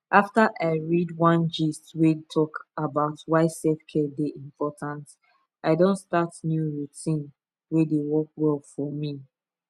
after i read one gist wey talk about why selfcare dey important i don start new routine wey dey work well for me